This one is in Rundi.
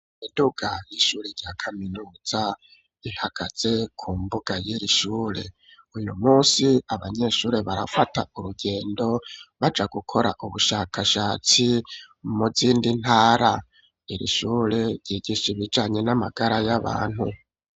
Imiduga y'ishuri rya kaminuza ihagaze ku mbuga y'irishure, uyu munsi abanyeshuri barafata urugendo baja gukora ubushakashatsi mu zindi ntara, irishure ryigishibijanye n'amagara y'abantu.